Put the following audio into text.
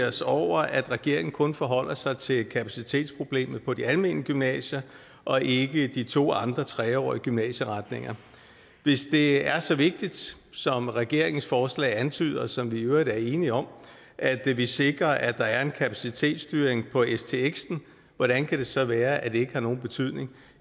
os over at regeringen kun forholder sig til kapacitetsproblemet på de almene gymnasier og ikke på de to andre tre årige gymnasieretninger hvis det er så vigtigt som regeringens forslag antyder og som vi jo i øvrigt er enige om at vi sikrer at der er en kapacitetsstyring på stx hvordan kan det så være at det ikke har nogen betydning